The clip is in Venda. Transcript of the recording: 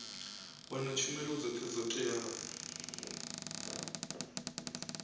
wana tshumelo dzothe dzo teaho